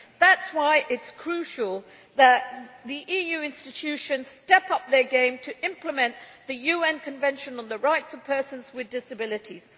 That is why it is crucial that the EU institutions step up their game to implement the UN Convention on the Rights of Persons with Disabilities.